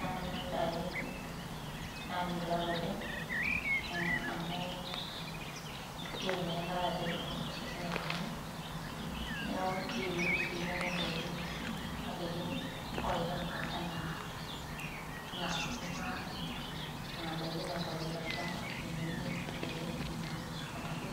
namanya ndakin natiu eilata oleng amu yiolo na eilata ajo ketoronok toltungani neaku keyieuni si nanya kuna dakin olchamba ana sukuma nona dakin naitauni tolchamba meyieuni kuna dakin nainyanguni te supermarket